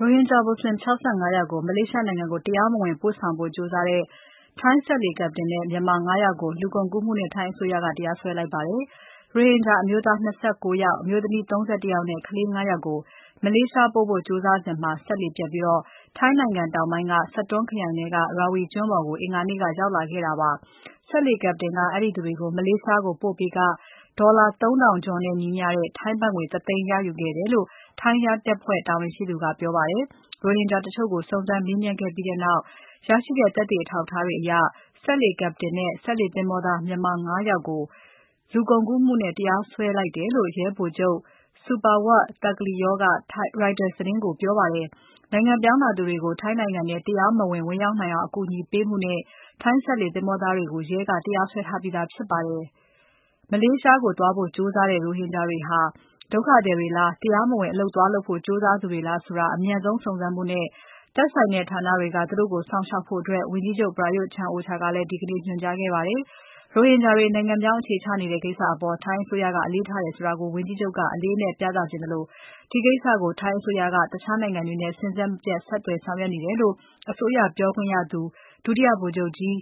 ရိုဟင်ဂျာမွတ်ဆလင် ၆၅ ယောက်ကို မလေးရှားနိုင်ငံကို တရားမဝင်ပို့ဆောင်ဖို့ကြိုးစားတဲ့ ထိုင်းစက်လှေ Captain နဲ့ မြန်မာ ၅ ယောက်ကို လူကုန်ကူးမှုနဲ့ ထိုင်းအစိုးရက တရားစွဲလိုက်ပါတယ်။ ရိုဟင်ဂျာအမျိုးသား ၂၉ ယောက်၊ အမျိုးသမီး ၃၁ ယောက်နဲ့ ကလေး ၅ ယောက်ကို မလေးရှားကိုပို့ဖို့ကြိုးစားစဉ် စက်လှေပျက်ပြီး ထိုင်းနိုင်ငံတောင်ပိုင်းက Satun ခရိုင်ထဲက Rawi ကျွန်းပေါ်ကို အင်္ဂါနေ့က ရောက်လာခဲ့တာဖြစ်ပါတယ်။ စက်လှေ Captain က အဲဒီသူတွေကို မလေးရှားကို ပို့ပေးခ ဒေါ်လာ ၃ ထောင်ကျော်နဲ့ညီမျှတဲ့ ထိုင်းဘတ်ငွေ ၁ သိန်းရယူခဲ့တယ်လို့ ထိုင်းရဲတပ်ဖွဲ့တာဝန်ရှိသူက ပြောပါတယ်။ ရိုဟင်ဂျာတချို့ကို စုံစမ်းမေးမြန်းပြီးတဲ့နောက် ရရှိတဲ့ သက်သေအထောက်အထားတွေအရ စက်လှေ Captain နဲ့ စက်လှေသင်္ဘောသား မြန်မာ ၅ ယောက်ကို လူကုန်ကူးမှုနဲ့ တရားစွဲလိုက်တယ်လို့ ရဲဗိုလ်ချုပ် Supawat Thapkliew က Reuters သတင်းကိုပြောပါတယ်။ နိုင်ငံပြောင်းလာသူတွေကို ထိုင်းနိုင်ငံထဲ တရားမဝင် ဝင်နိုင်အောင် အကူအညီပေးမှုနဲ့ စက်လှေသင်္ဘောသားတွေကို ရဲကတရားစွဲထားပြီးသားဖြစ်ပါတယ်။ မလေးရှားကိုသွားဖို့ ကြိုးစားတဲ့ ရိုဟင်ဂျာတွေဟာ ဒုက္ခသည်တွေလား၊ တရားမဝင်အလုပ် သွားလုပ်ဖို့ကြိုးစားသူတွေလားဆိုတာ အမြန်ဆုံးစုံစမ်းဖို့နဲ့ သက်ဆိုင်တဲ့ဌာနတွေက သူတို့ကို စောင့်ရှောက်ဖို့ ဝန်ကြီးချုပ် Prayut Chan-O-Cha ကလည်း ဒီကနေ့ ညွှန်ကြားခဲ့ပါတယ်။ ရိုဟင်ဂျာတွေ နိုင်ငံပြောင်းအခြေချနေကြတဲ့ကိစ္စအပေါ် ထိုင်းအစိုးရက အလေးထားတယ်ဆိုတာကို ဝန်ကြီးချုပ်က အလေးအနက်ပြသချင်သလို ဒီကိစ္စကို ထိုင်းအစိုးရက တခြားနိုင်ငံတွေနဲ့ စဉ်ဆက်မပြတ် ဆက်သွယ်ဆောင်ရွက်နေတယ်လို့ အစိုးရပြောခွင့်ရသူ ဒုတိယဗိုလ်ချုပ်ကြီး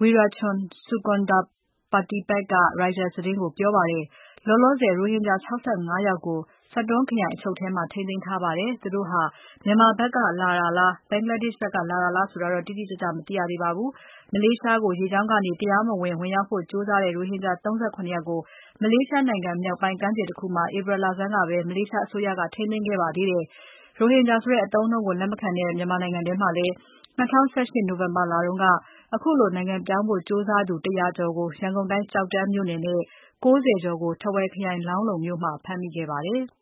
Werachon Sukondhapatipak က Reuters သတင်းဌာနကို ပြောကြားပါတယ်။ လောလောဆယ် ရိုဟင်ဂျာ ၆၅ ယောက်ကို Satun ခရိုင်ရဲအချုပ်မှာ ထိန်းသိမ်းထားပါတယ်။ သူတို့ဟာ မြန်မာနိုင်ငံဖက်က လာတာလား၊ ဘင်္ဂလားဒေ့ရှ် ဖက်ကလာတာလားဆိုတာ တိတိကျကျက မသိရသေးပါဘူး။ မလေးရှားကို ရေကြောင်းကနေ တရားမဝင် ဝင်ရောက်ဖို့ကြိုးစားတဲ့ ရိုဟင်ဂျာ ၃၇ ယောက်ကို မလေးရှားနိုင်ငံမြောက်ပိုင်းက ကမ်းခြေတခုမှာ ဧပြီ လဆန်းကပဲ မလေးရှားအစိုးရက ထိန်းသိမ်းခဲ့ပါတယ်။ ရိုဟင်ဂျာဆိုတဲ့ အသုံးအနှုန်းကိုလက်မခံတဲ့ မြန်မာနိုင်ငံထဲမှာလည်း ၂၀၁၈ နိုဝင်ဘာလတုန်းက ခုလိုနိုင်ငံပြောင်းဖို့ကြိုးစားသူ ၁ ၀၀ကို ရန်ကုန်တိုင်း ကျောက်တန်းမြို့နယ်နဲ့ ၉၀ ကျော်ကို ထားဝယ်ခရိုင် လောင်းလုံမြို့မှာ ဖမ်းမိခဲ့ပါတယ်။